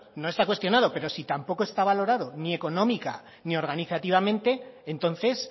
no está cuestionado pero si tampoco está valorado ni económica ni organizativamente entonces